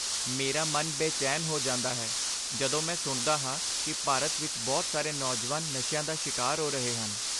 ਮੇਰਾ ਮਨ ਬੇਚੈਨ ਹੋ ਜਾਂਦਾ ਹੈ ਜਦੋਂ ਮੈਂ ਸੁਣਦਾ ਹਾਂ ਕਿ ਭਾਰਤ ਵਿੱਚ ਬਹੁਤ ਸਾਰੇ ਨੌਜਵਾਨ ਨਸ਼ਿਆਂ ਦਾ ਸ਼ਿਕਾਰ ਹੋ ਰਹੇ ਹਨ।